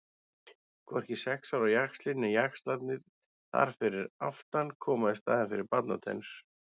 Hvorki sex ára jaxlinn né jaxlarnir þar fyrir aftan koma í staðinn fyrir barnatennur.